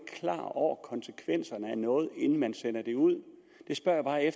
klar over konsekvenserne af noget inden man sendte det ud der spørger jeg